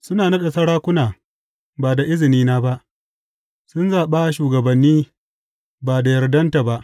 Suna naɗa sarakuna, ba da izinina ba; sun zaɓa shugabanni ba da yardanta ba.